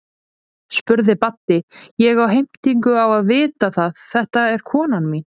spurði Baddi, ég á heimtingu á að fá að vita það, þetta er konan mín.